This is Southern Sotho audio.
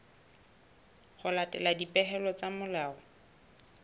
ho latela dipehelo tsa molao